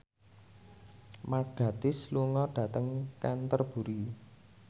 Mark Gatiss lunga dhateng Canterbury